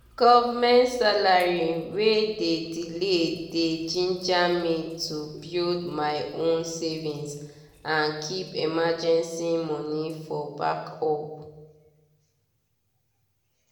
government salary wey dey delay dey ginger me to build my own savings and keep emergency money for backup.